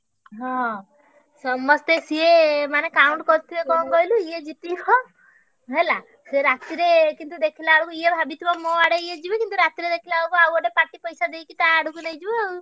ହଁ ସମସ୍ତେ ସିଏ ମାନେ count କରିଥିବେ କଣ କହିଲୁ ଏ ଜିତିବ ହେଲା ସିଏ ରାତିରେ ଦେଖିଲା ବେଳକୁ ଏ ମୋ ଆଡ ଏ ଯିବେ କିନ୍ତୁ ରାତି ରେ ଦେଖିଲା ବେଳକୁ ଆଉଗୋଟେ party ପଇସା ଦେଇକି ତା ଆଡକୁ ନେଇଯିବ ଆଉ।